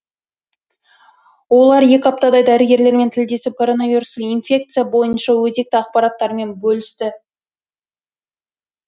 олар екі аптадай дәрігерлермен тілдесіп коронавирустық инфекция бойынша өзекті ақпараттарымен бөлісті